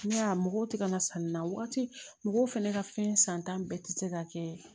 Ne y'a mɔgɔw tɛ ka na sanni na waati mɔgɔw fana ka fɛn santa bɛɛ tɛ se ka kɛ